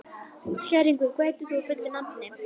Skæringur, hvað heitir þú fullu nafni?